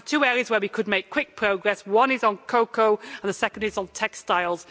We have two areas where we could make quick progress the first is cocoa and the second is textiles.